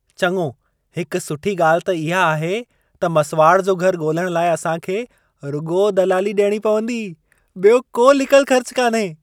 चङो हिक सुठी ॻाल्हि त इहा आहे, त मसिवाड़ जो घर ॻोल्हणु लाइ असां खे रुॻो दलाली ॾियणी पवंदी। ॿियो को लिकल ख़र्च कान्हे।